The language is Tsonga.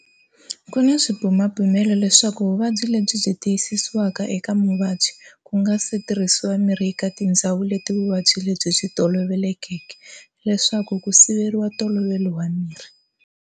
Kuna swibumabumelo leswaku vuvabyi lebyi byi tiyisisiwa eka muvabyi, kungasitirhisiwa mirhu eka tindzawu leti vuvabyi lebyi byi tolovelekeke, leswaku ku siveriwa ntolovelo wa mirhi.